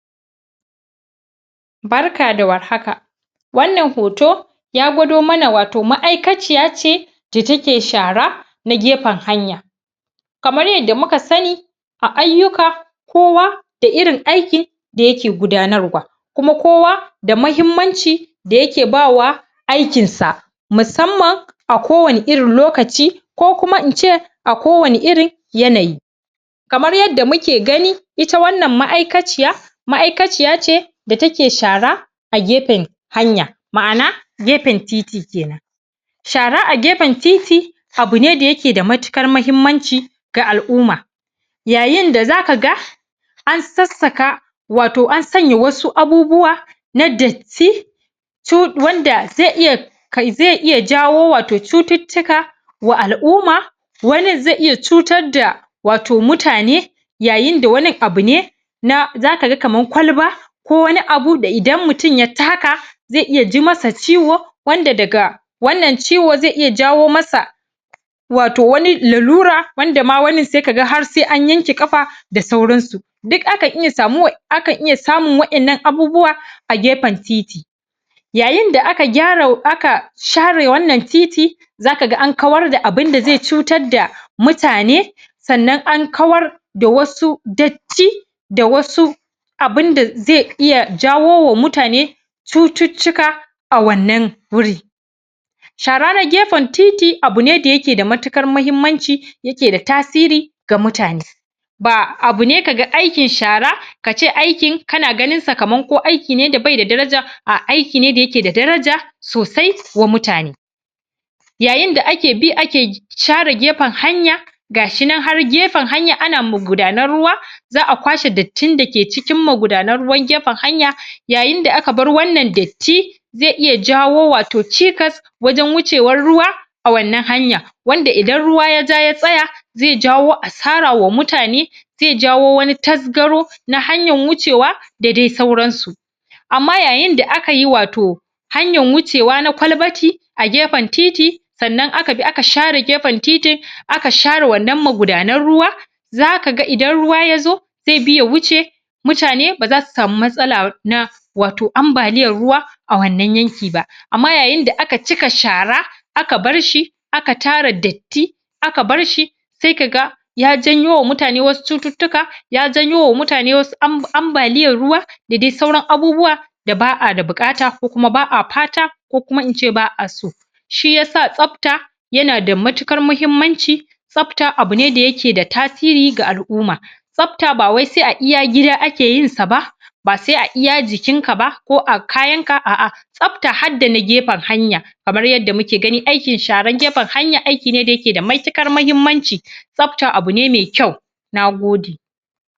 Barka da warhaka wannan hoto ya gwado mana wato ma'aikaciya ce da take shara ta gefen hanya kamar yanda muka sani a ayyuka kowa da irin aiki da yake gudanarwa kuma kowa da mahimmanci da yake ba wa aikinsa musamman a kowani irin lokaci ko kuma in ce a kowani irin yanayi kamar yanda muke gani ita wannan ma'aikaciya ma'aikaciya ce da take shara a gefen hanya ma'ana gefen titi kenan shara a gefen titi abu ne da yake da matiƙar mahhimmanci ga al'uma yayinda zaka ga an sassaka wato an sanya wasu abubuwa na datti wanda zai iya zai iya jawo wato cututtuka wa al'uma wanin zai iya cutar da wato mutane yayinda wanin abu ne na zaka ga kaman kwalba ko wani abu da idan mutun ya taka ai iya ji masa ciwo wanda daga wannan ciwo zai iya jawo masa wato wani lalura wanda ma wanin sai kaga har sai an yanke ƙafa da sauransu duk akan iya samu akan iya samun wa'innan abubuwa a gefen titi yayinda aka gyara share wannan titi za ka ga an kawar da abinda zai cutar da mutane sannan an kawar da wasu datti da wasu abinda zai iya zawo wa mutane cututtuka a wannan wuri shara na gefen titi abu ne da yke da matuƙar mahimmanci yake da tasiri ga mutane ba abu ne ka ga aikin shara ka ce aikin kana ganinsa kaman ko aiki ne da zai da daraja aiki ne da yake da daraja sosai wa mutane yayinda ake bi ake share gefen hanya gashinan har gefen hanya ana magudanar ruwa za a kwashe dattin da ke cikin magudannan ruwan gefen hanya yayinda aka bar wannan datti zai iya jawo wato cikas wajen wucewar ruwa a wannan hanya wanda idan ruwa ya ja ya tsaya zai jawo asara wa mutane zai jawo wani tasgaro na hanyan wucewa da dai sauransu amma yayin da aka yi wato hanyan wucewa na kwalbati a gefen titi sannan aka bi aka share gefen titin aka share wannan magudanar ruwa zaka ga idan ruwa ya zo zai bi a wuce mutane ba zasu samu matsala na wato ambaliyan ruwa a wannan yanki ba amma yayinda aka cika shara aka barshi ka tara datti aka barshi sai ka ga ya janyo wa mutane asu cututtuka ya janyo wa mutane wasu ambaliyar ruwa da dai sauran abubuwa da ba a da buƙata ko kuma ba a fata ko kuma in ce ba a so shi yasa tsafta yana da matuƙar mahimmanci tsafta abu ne da yake da tasiri ga al'uma tsafta ba wai sai a iya gida ake yinsa ba ba sai a iya jikinka ba ko a kayanka a'a tsafta har da na gefen hanya kamar yanda muke gani aikin sharan gefen hanya aiki ne da yake da matuƙar mahimmanci tsafta abu ne mai kyau na gode